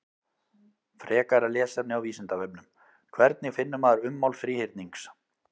Frekara lesefni á Vísindavefnum: Hvernig finnur maður ummál þríhyrnings?